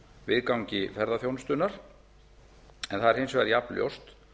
viðgangi ferðaþjónustunnar en það er hins vegar jafnljóst